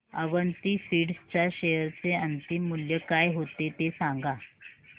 Avanti feeds च्या share चे अंतिम मूल्य काय होते ते सांगा